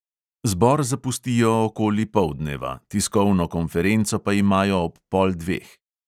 Zbor zapustijo okoli poldneva, tiskovno konferenco pa imajo ob pol dveh.